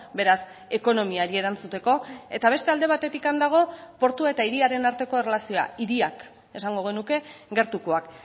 beraz ekonomiari erantzuteko eta beste alde batetik dago portua eta hiriaren arteko erlazioa hiriak esango genuke gertukoak